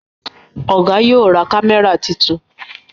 Oga yóò ra kámẹ́rà títún.